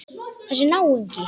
Þessi náungi.